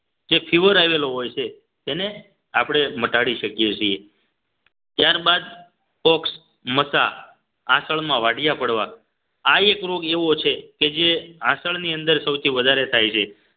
જે fever આવેલો હોય છે તેને આપણે મટાડી શકીએ છીએ ત્યારબાદ બોક્સ મસા આસળમાં વાટિયા પડવા આ એક રોગ એવો છે કે જે આસળ ની અંદર સૌથી વધારે થાય છે